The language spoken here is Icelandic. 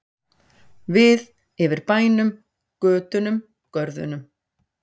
Við yfir bænum, götunum, görðunum.